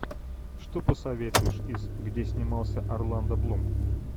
что посоветуешь из где снимался орландо блум